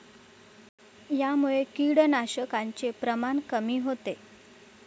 यामुळे किडनाशकाचे प्रमाण कमी होते.